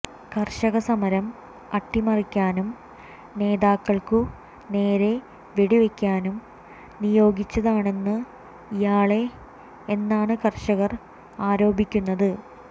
കർഷക സമരം അട്ടിമറിക്കാനും നേതാക്കൾക്കു നേരെ വെടിവെക്കാനും നിയോഗിച്ചതാണെന്ന് ഇയാളെ എന്നാണ് കർഷകർ ആരോപിക്കുന്നത്